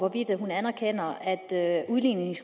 at det er en